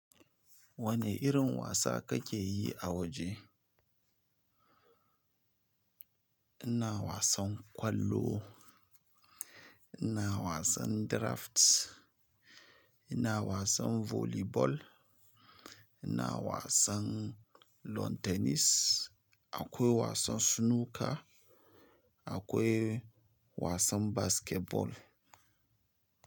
Wane irin wasa kake yi a waje? Ina wasan kwallo ina wasan draft, ina wasan volleyball, ina wasan lawn tennis, akwai wasan snooker, akwai wasan basketball.